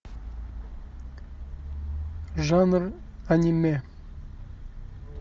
жанр аниме